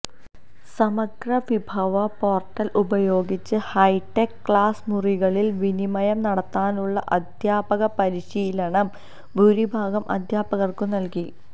സമഗ്ര വിഭവ പോര്ട്ടല് ഉപയോഗിച്ച് ഹൈടെക്ക് ക്ലാസ് മുറികളില് വിനിമയം നടത്താനുള്ള അധ്യാപക പരിശീലനം ഭൂരിഭാഗം അധ്യാപകര്ക്കും നല്കി